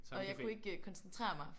Okay samme café